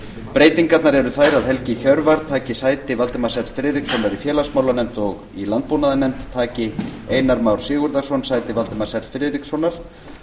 breytingarnar eru þær að helgi hjörvar taki sæti valdimars l friðrikssonar í félagsmálanefnd og í landbúnaðarnefnd taki einar már sigurðarson sæti valdimars l friðrikssonar